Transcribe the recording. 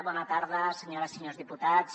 bona tarda senyores i senyors diputats